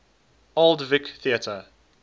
old vic theatre